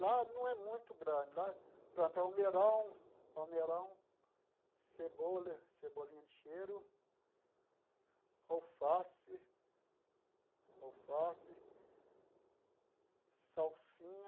Lá não é muito grande, lá planta almeirão, almeirão, cebola, cebolinha de cheiro, alface, alface, salsinha,